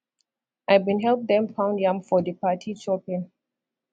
i bin help dem pound yam for di party chopping